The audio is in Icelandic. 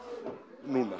núna